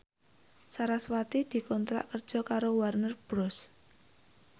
sarasvati dikontrak kerja karo Warner Bros